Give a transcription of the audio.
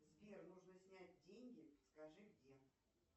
сбер нужно снять деньги скажи где